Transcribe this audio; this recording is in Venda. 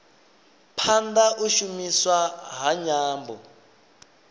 phanda u shumiswa ha nyambo